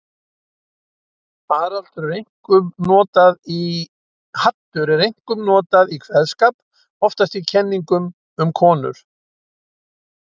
Haddur er einkum notað í kveðskap, oftast í kenningum um konur.